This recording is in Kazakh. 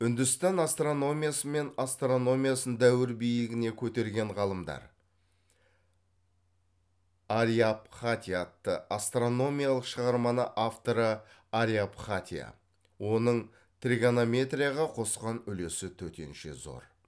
үндістан астрономиясы мен астрономиясын дәуір биігіне көтерген ғалымдар ариабхатия атты астрономиялық шығарманы авторы ариабхатия оның тригонометрияға қосқан үлесі төтенше зор